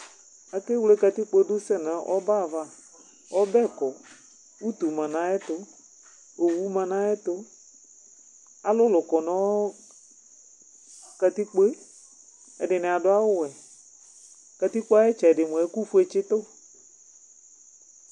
ake wle katikpo sɛ nu ɔbɛ ava , ɔbɛ kɔ, utu ma nu ayɛtu, owu ma nu ayɛtu, alulu kɔ nu katikpoe, ɛdini adu awu wɛ, katikpoe ayi itsɛdi mʋa ɛku fue tsitu